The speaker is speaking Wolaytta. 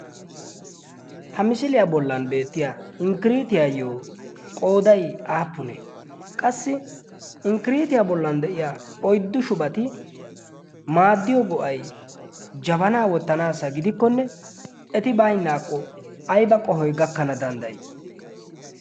ha misiliyaa bollan beettiya inkkiriitiyaayyo qooday aappune qassi inkkiriitiyaa bollan de'iya oiddu shubati maaddiyo go'ay jabana wottanaassa gidikkonne eti baynnaakko ayba qohoy gakkana danddayi